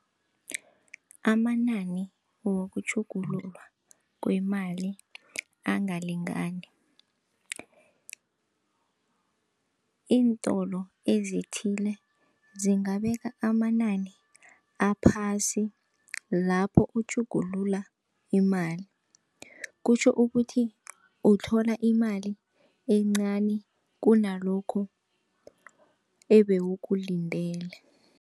Amanani wokutjhugululwa kwemali angalingani, iintolo ezithile zingabeka amanani aphasi lapho okutjhugulula imali, kutjho ukuthi uthola imali encani kunalokho ebewukulindele.